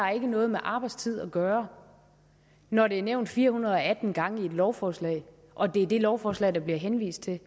noget med arbejdstid at gøre når det er nævnt fire hundrede og atten gange i et lovforslag og det er det lovforslag der bliver henvist til